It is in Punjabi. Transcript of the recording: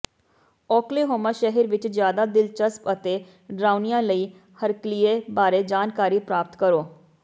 ਓਕ੍ਲੇਹੋਮਾ ਸ਼ਹਿਰ ਵਿਚ ਜ਼ਿਆਦਾ ਦਿਲਚਸਪ ਅਤੇ ਡਰਾਉਣਿਆਂ ਲਈ ਹਰਕਲੀਏ ਬਾਰੇ ਜਾਣਕਾਰੀ ਪ੍ਰਾਪਤ ਕਰੋ